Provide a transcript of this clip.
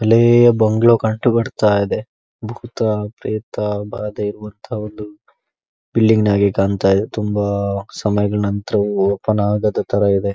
ಬಿಳಿಯ ಬಂಗಲೌ ಕಂಡೂ ಬರ್ತಾ ಇದೆ. ಭೂತ ಪೇತ್ರ ಭಾದೆ ಬರ್ತಾ ಇದೆ. ಬಿಲ್ಡಿಂಗ್ ಆಗಿ ಕಾಣ್ತಾ ಇದೆ ತುಂಬಾ ಸಮಯಗಳ ನಂತರ ಓಪನ್ ಆಗದ ತರ ಇದೆ.